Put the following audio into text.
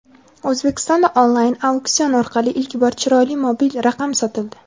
O‘zbekistonda onlayn auksion orqali ilk bor "chiroyli" mobil raqam sotildi.